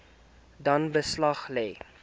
dan beslag lê